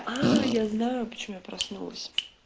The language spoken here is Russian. я знаю почему я проснулась